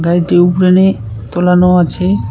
গাড়িটি উপরে নিয়ে তোলানো আছে।